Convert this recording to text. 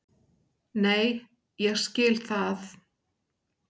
Nei, ég skil það.